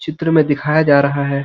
चित्र में दिखाया जा रहा है।